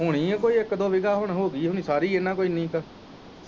ਹੁਣੀ ਕੋਈ ਇੱਕ ਦੋ ਵੀਜਾ ਹੁਣ ਹੋਗੀ ਹੁਣੀ ਸਾਰੀ ਇੰਨਾਂ ਕੁ ਇੰਨੀ ਕ।